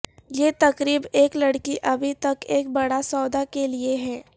یہ تقریب ایک لڑکی ابھی تک ایک بڑا سودا کے لئے ہے